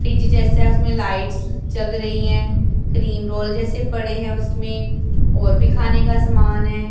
Fridge जैसे lights जग रही हैं क्रीम रोल जैसे पड़े हैं उसमें और भी खाने का समान है।